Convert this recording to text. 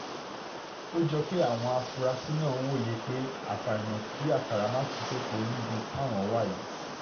ó jọ pé àwọn afurasí náà wòye pé àfàìmọ̀ kí àkàrà má tú sèpò níbi táwọn wà yìí